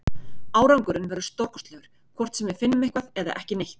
Árangurinn verður stórkostlegur, hvort sem við finnum eitthvað eða ekki neitt.